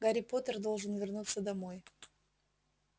гарри поттер должен вернуться домой